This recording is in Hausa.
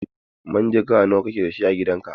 Manjagara nawa kake da a gidan ka?